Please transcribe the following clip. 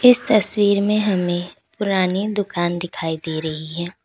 इस तस्वीर में हमें पुरानी दुकान दिखाई दे रही है।